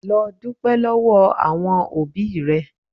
Lọ dúpẹ́ lọ́wọ́ àwọn òbí rẹ.